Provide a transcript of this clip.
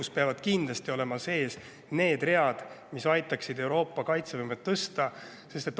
Seal peavad kindlasti olema sees read, mis aitaksid Euroopa kaitsevõimet tõsta.